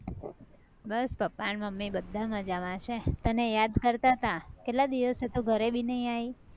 બસ પપ્પા ને મમ્મી બધ્ધા મજા માં છે તને યાદ કરતા તા કેટલા દિવસે તું ઘરે બી નઈ આયી